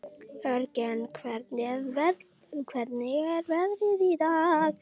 Jörgen, hvernig er veðrið í dag?